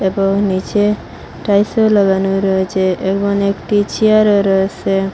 ও নীচে টাইলসও লাগানো রয়েছে এবং একটি চেয়ারও রয়েসে।